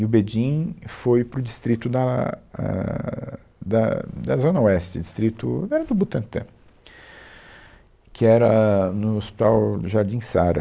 E o Bedin foi para o distrito da, ah, da, da Zona Oeste, distrito, era do Butantã, que era ãh, no Hospital Jardim Sarah.